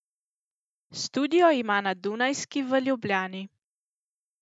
Studio ima na Dunajski v Ljubljani.